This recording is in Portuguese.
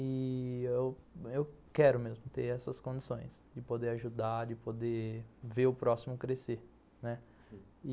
E eu quero mesmo ter essas condições de poder ajudar, de poder ver o próximo crescer, né